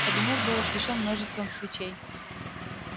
кабинет был освещён множеством свечей